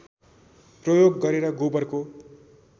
प्रयोग गरेर गोबरको